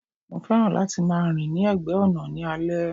Mo fẹ́ràn láti máa rìn ní ẹ̀gbẹ́ ọ̀nà ní alẹ́.